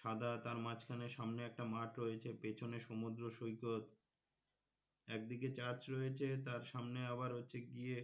সাদা তার মাঝখানে সামনে একটা মাঠ রয়েছে পেছনে সমুদ্র সৈকত একদিকে church রয়েছে তার সামনে আবার হচ্ছে গিয়ে